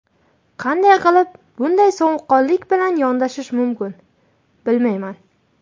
Qanday qilib bunday sovuqqonlik bilan yondashish mumkin, bilmayman.